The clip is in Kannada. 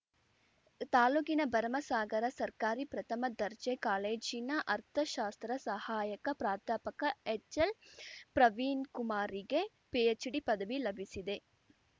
ತಾಲೂಕಿನ ಭರಮಸಾಗರ ಸರ್ಕಾರಿ ಪ್ರಥಮ ದರ್ಜೆ ಕಾಲೇಜಿನ ಅರ್ಥಶಾಸ್ತ್ರ ಸಹಾಯಕ ಪ್ರಾಧ್ಯಾಪಕ ಎಚ್‌ಎಲ್‌ಪ್ರವೀಣ್‌ ಕುಮಾರ್‌ಗೆ ಪಿಎಚ್‌ಡಿ ಪದವಿ ಲಭಿಸಿದೆ